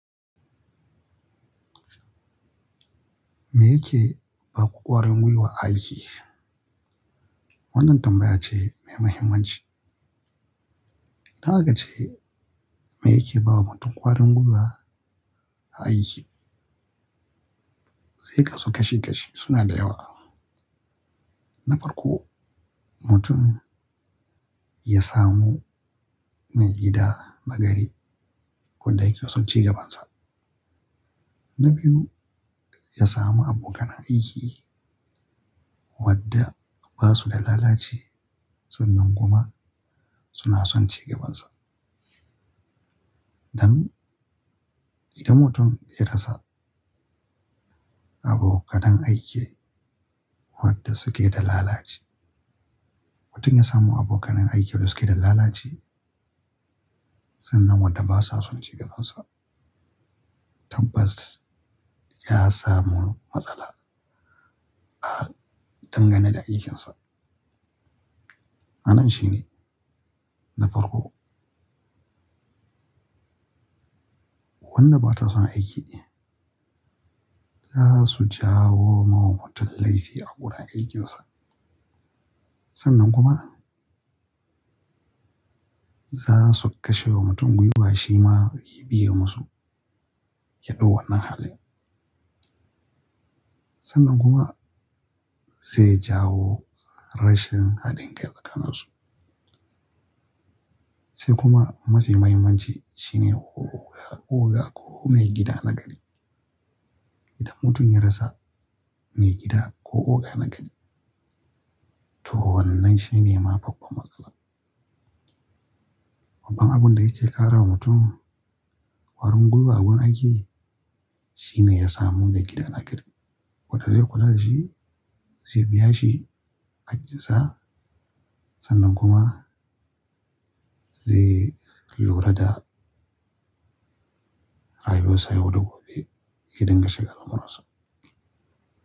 Me yake ba ku ƙwarin gwiwa a aiki? Wannan tambaya ce mai muhimmanci. Don haka ce me yake bawa mutum ƙwarin gwiwa a aiki zai kasu kashi kashi suna da yawa. Na farko, mutum ya samu maigida na gari wanda yake son cigabansa. Na biyu, ya samu abokan aiki wadda ba su da lalaci sannan kuma suna son cigabansa. Idan mutum ya rasa abokanan aiki wadda suke da lalaci. Mutum ya samu abokan aiki da suke da lalaci sannan wadda ba sa son cigabansa tabbas ya samu matsala ah dangane da aikinsa. Ma'anashi ne na farko, wannan ba ta son aiki za su jawo wa mutum laifi a wurin aikinsa. Sannan kuma za su kashe wa mutum gwiwa shi ma ya biye musu yaɗau wannan halin. Sannan kuma zai jawo rashin haɗin kai tsakaninsu. Sai kuma mafi muhimmanci shine oga ko maigida na gari. Idan mutum ya rasa maigida ko oga na gari to wannan shine mafi kwabo matsala. Babban abun da yake ƙara wa mutum ƙwarin gwiwa a wurin aiki shine ya samu maigida na gari wadda zai kula da shi, zai biya shi aikinsa sannan kuma zai lura da rayuwarsa yau da gobe idan yashinga lamuransa.